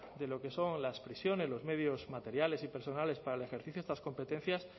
de lo que son las prisiones los medios materiales y personales para el ejercicio de estas competencias